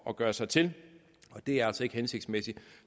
at gøre sig til og det er altså ikke hensigtsmæssigt